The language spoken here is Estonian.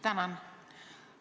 Tänan!